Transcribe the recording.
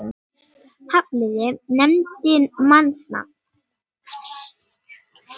Hafliði nefndi mannsnafn.